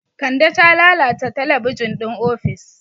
Kande ta lalata talabijin ɗin ofis.